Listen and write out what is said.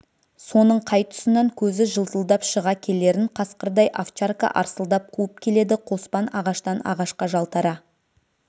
соның қай тұсынан көзі жылтылдап шыға келерін қасқырдай овчарка арсылдап қуып келеді қоспан ағаштан ағашқа жалтара